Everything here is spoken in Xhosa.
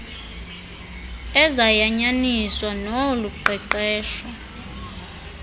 ezayanyaniswa nolu qeqesho